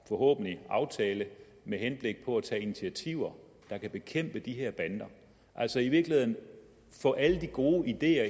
forhåbentlig en aftale med henblik på at tage initiativer der kan bekæmpe de her bander altså i virkeligheden få alle de gode ideer